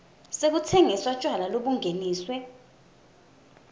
sekutsengisa tjwala lobungeniswe